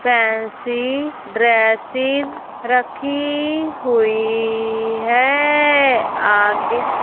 fancy dresses रखी हुई हैं आगे--